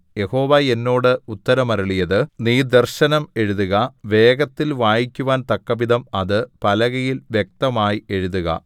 യഹോവ എന്നോട് ഉത്തരം അരുളിയത് നീ ദർശനം എഴുതുക വേഗത്തിൽ വായിക്കുവാൻ തക്കവിധം അത് പലകയിൽ വ്യക്തമായി എഴുതുക